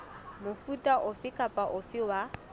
mofuta ofe kapa ofe wa